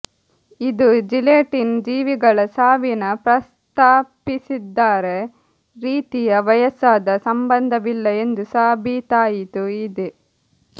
ಇದು ಜಿಲೆಟಿನ್ ಜೀವಿಗಳ ಸಾವಿನ ಪ್ರಸ್ತಾಪಿಸಿದ್ದಾರೆ ರೀತಿಯ ವಯಸ್ಸಾದ ಸಂಬಂಧವಿಲ್ಲ ಎಂದು ಸಾಬೀತಾಯಿತು ಇದೆ